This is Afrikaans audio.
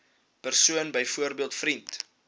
persoon byvoorbeeld vriend